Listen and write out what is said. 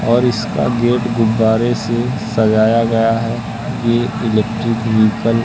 और इसका गेट गुब्बारे से सजाया गया है ये इलेक्ट्रिक व्हीकल --